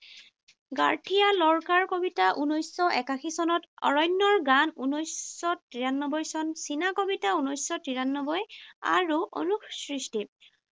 গাৰ্থিয়া লৰ্কাৰ কবিতা, ঊনৈশশ একাশী চনত অৰণ্যৰ গান। ঊনৈশশ তিৰানব্বৈ চন চীনা কবিতা, ঊনৈশশ তিৰানব্বৈ। আৰু অনুসৃষ্টি।